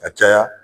Ka caya